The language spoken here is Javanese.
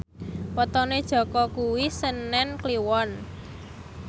wetone Jaka kuwi senen Kliwon